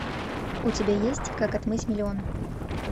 у тебя есть как отмыть миллион